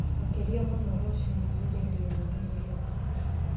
Makĩria mũno rũciinĩ rĩrĩa rĩera rĩihehu